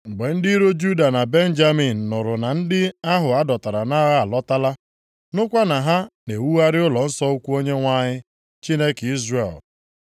Mgbe ndị iro Juda na Benjamin + 4:1 Sameria bụ isi obodo alaeze ugwu, ndị agbụrụ Benjamin bụ ndị bi nʼobodo ugwu Izrel, ya mere ha ji bụrụ ndị Sameria. nụrụ na ndị ahụ a dọtara nʼagha alọtala, nụkwa na ha na-ewugharị ụlọnsọ ukwu Onyenwe anyị, Chineke Izrel,